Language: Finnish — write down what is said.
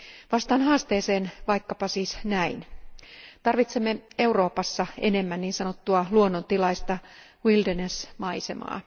Vastaan haasteeseen vaikkapa siis näin tarvitsemme Euroopassa enemmän niin sanottua luonnontilaista wilderness maisemaa.